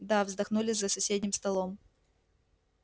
да вздохнули за соседним столом